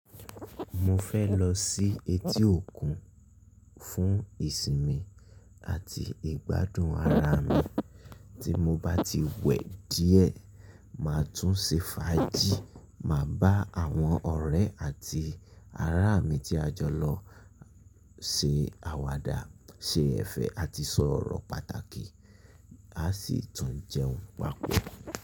Mo fẹ́ lọ sí etí òkun fún ìsinmi àti ìgbádùn ara mi. Tí mo bá ti wẹ díẹ̀, màá tún ṣe fàájì, màá bá àwọn ọ̀rẹ́ àti ará mi tí a jọ lọ ṣe àwàdà, ṣe ẹ̀fẹ̀ àti sọ̀rọ̀ pàtàkì, a sì tún jẹun papọ̀.